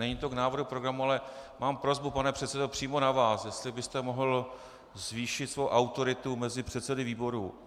Není to k návrhu programu, ale mám prosbu, pane předsedo, přímo na vás, jestli byste mohl zvýšit svoji autoritu mezi předsedy výborů.